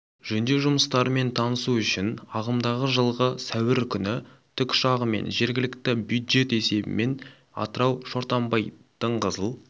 жөндеу жұмыстарымен танысу үшін ағымдағы жылғы сәуір күні тікұшағымен жергілікті бюджет есебінен атырау шортанбай дыңғызыл